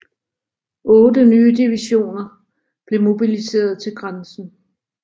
Otte nye divisioner blev mobiliserede til grænsen